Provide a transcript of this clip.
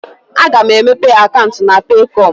A ga m emepe akaụntụ na Peekọm.